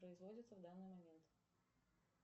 производится в данный момент